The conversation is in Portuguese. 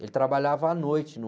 Ele trabalhava à noite no...